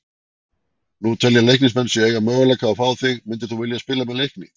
Nú telja Leiknismenn sig eiga möguleika á að fá þig, myndir þú spila með Leikni?